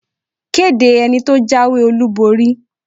Kéde ẹni tó jáwé-olúborí!